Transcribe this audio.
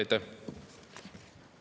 Aitäh!